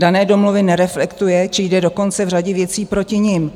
Dané domluvy nereflektuje či jde dokonce v řadě věcí proti nim.